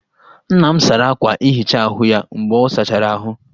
Nna m sara akwa nhicha ahụ ya mgbe ọ sachara ahụ